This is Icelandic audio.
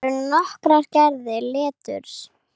Til eru nokkrar gerðir leturs